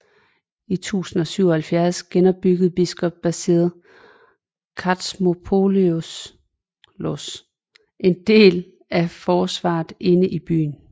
I 1077 genopbyggede biskop Basil Kartzimopoulos en del af forsvaret inde i byen